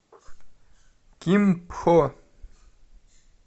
кимпхо